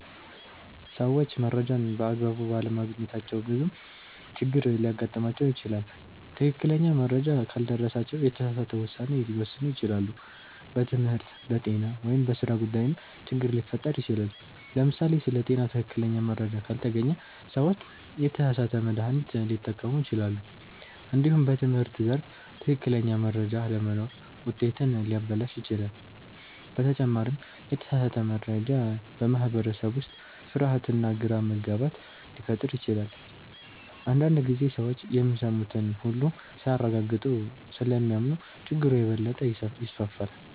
ሰዎች መረጃን በአግባቡ ባለማግኘታቸው ብዙ ችግሮች ሊያጋጥሟቸው ይችላሉ። ትክክለኛ መረጃ ካልደረሳቸው የተሳሳተ ውሳኔ ሊወስኑ ይችላሉ፣ በትምህርት፣ በጤና ወይም በሥራ ጉዳይም ችግር ሊፈጠር ይችላል። ለምሳሌ ስለ ጤና ትክክለኛ መረጃ ካልተገኘ ሰዎች የተሳሳተ መድሃኒት ሊጠቀሙ ይችላሉ። እንዲሁም በትምህርት ዘርፍ ትክክለኛ መረጃ አለመኖር ውጤትን ሊያበላሽ ይችላል። በተጨማሪም የተሳሳተ መረጃ በማህበረሰብ ውስጥ ፍርሃትና ግራ መጋባት ሊፈጥር ይችላል። አንዳንድ ጊዜ ሰዎች የሚሰሙትን ሁሉ ሳያረጋግጡ ስለሚያምኑ ችግሩ የበለጠ ይስፋፋል።